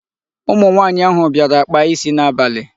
Ụmụ nwaanyị ahụ bịara kpaa isi n'abalị.